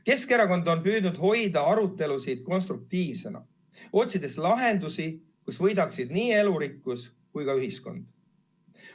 Keskerakond on püüdnud hoida arutelud konstruktiivsed, otsides lahendusi, mille puhul võidaksid nii elurikkus kui ka ühiskond.